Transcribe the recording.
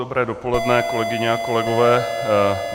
Dobré dopoledne, kolegyně a kolegové.